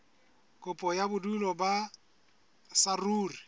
kopo ya bodulo ba saruri